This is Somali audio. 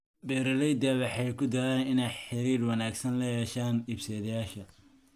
Beeraleydu waxay ku dadaalaan inay xiriir wanaagsan la yeeshaan iibsadayaasha.